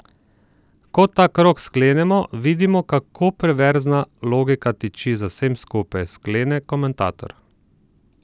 Ko ta krog sklenemo, vidimo, kako perverzna logika tiči za vsem skupaj, sklene komentator.